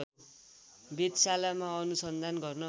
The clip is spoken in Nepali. वेधशालामा अनुसन्धान गर्न